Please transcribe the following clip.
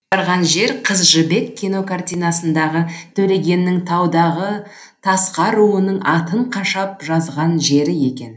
барған жер қыз жібек кинокартинасындағы төлегеннің таудағы тасқа руының атын қашап жазған жері екен